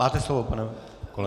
Máte slovo, pane kolego.